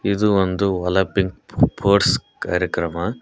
ಇದು ಒಂದು Olympic sports ಕಾರ್ಯಕ್ರಮ.